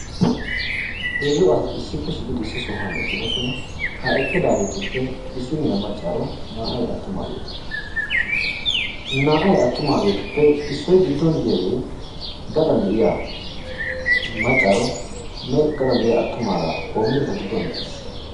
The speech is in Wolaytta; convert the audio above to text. Heezzu asati issippe shiiqidi issi sohuwan eqqidosona. Ha eqqidaageetuppe issiniya maccaaro naa"ay attumaageeta naa"ay attumaageetuppe issoy giddon diyaagee gaxxan de'iya maccaaronne gaxxan deiya attumagaa qoommidi eta gidduwan eqqiis.